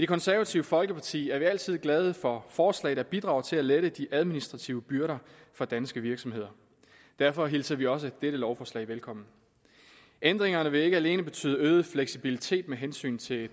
konservative folkeparti er vi altid glade for forslag der bidrager til at lette de administrative byrder for danske virksomheder derfor hilser vi også dette lovforslag velkommen ændringerne vil ikke alene betyde øget fleksibilitet med hensyn til